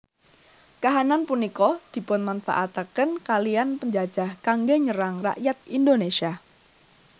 Kahanan punika dipunmanfaataken kaliyan penjajah kanggé nyerang rakyat Indonésia